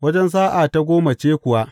Wajen sa’a ta goma ce kuwa.